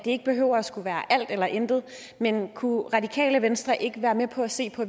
ikke behøver at skulle være alt eller intet kunne radikale venstre ikke være med på at se på